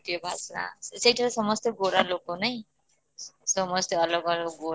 କି ଭାଷା ସେଇଠାର ସମସ୍ତେ ଗୋରା ଲୋକ ନାଇଁ ସମସ୍ତେ ଅଲଗା